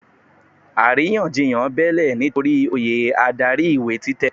Àrínyànjiyàn bẹ́ẹ́lẹ̀ nitori oyè adarí ìwé títẹ̀.